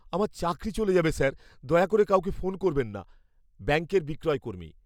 আমার চাকরি চলে যাবে, স্যার। দয়া করে কাউকে ফোন করবেন না। ব্যাঙ্কের বিক্রয়কর্মী